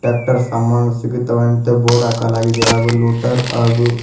ಟಾಕ್ಟರ ಸಾಮಾನ ಸಿಗತ್ತವೆ ಅಂತ ಬೋರ್ಡ್ ಹಾಕಲಾಗಿದೆ ಹಾಗು ಲುಟರ್--